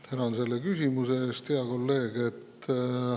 Tänan selle küsimuse eest, hea kolleeg!